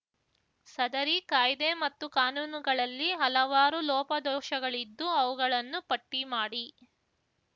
ಸದರಿ ಕಾಯ್ದೆ ಮತ್ತು ಕಾನೂನುಗಳಲ್ಲಿ ಹಲವಾರು ಲೋಪದೋಶಗಳಿದ್ದು ಅವುಗಳನ್ನು ಪಟ್ಟಿ ಮಾಡಿ